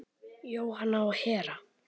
Jóhanna og Hera.